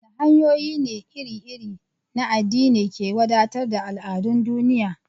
A waɗanne hanyoyi ne iri-iri na addini ke wadatar da al'adun duniya?